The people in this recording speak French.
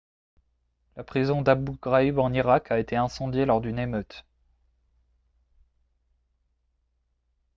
la prison d'abu ghraib en irak a été incendiée lors d'une émeute